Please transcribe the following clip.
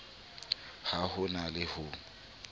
ha ho na le ho